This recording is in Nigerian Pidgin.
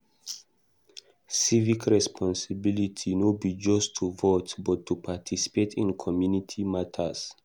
Civic responsibility no be just to vote, but to participate in community matters.